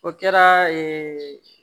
O kɛra ee